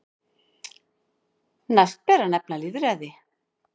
Næst ber að nefna lýðræði.